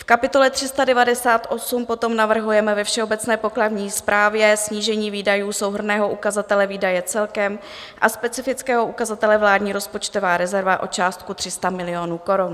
V kapitole 398 potom navrhujeme ve všeobecné pokladní správě snížení výdajů souhrnného ukazatele výdaje celkem a specifického ukazatele vládní rozpočtová rezerva o částku 300 milionů korun.